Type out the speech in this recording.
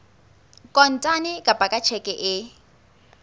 kontane kapa ka tjheke e